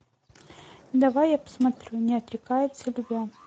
давай я посмотрю не отрекаются любя